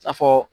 A fɔ